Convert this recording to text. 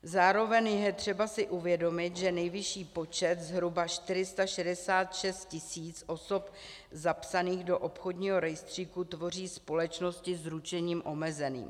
Zároveň je třeba si uvědomit, že nejvyšší počet, zhruba 466 000 osob zapsaných do obchodního rejstříku, tvoří společnosti s ručením omezeným.